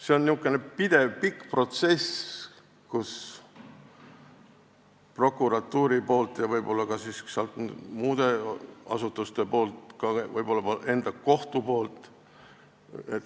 See on pidev pikk protsess prokuratuuri poolt ja võib-olla ka muude asutuste poolt, võib-olla kohtu enda poolt.